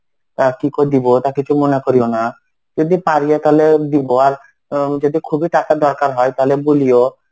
তা কি ক দিবো তা কিছু মনে করিও না. যদি পারিও তাহলে দিব আর উম যদি খুবই টাকার দরকার হয় তাহলে বলিও.